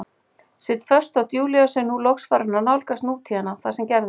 Sit föst þótt Júlía sé nú loks farin að nálgast nútíðina, það sem gerðist.